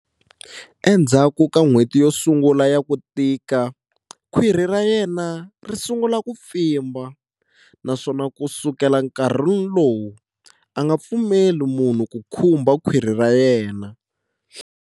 Endzhaku ka n'hweti yo sungula ya ku tika, khwiri ra yena ri sungula ku pfimba, naswona ku sukela enkarhini lowu, a nga pfumeleli munhu ku khumba khwiri ra yena.